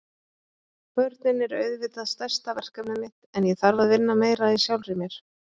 Börnin eru auðvitað stærsta verkefnið mitt en ég þarf að vinna meira í sjálfri mér.